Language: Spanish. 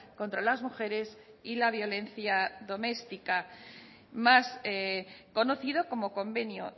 contra las mujeres y la violencia doméstica más conocido como convenio